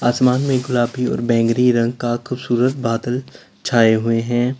आसमान में गुलाबी और बैंगनी रंग का खूबसूरत बादल छाए हुए हैं।